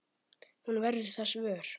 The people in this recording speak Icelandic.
Hún verður þess vör.